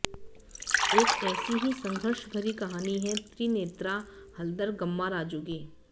एक ऐसी ही संघर्षभरी कहानी है त्रिनेत्रा हल्दर गम्माराजू की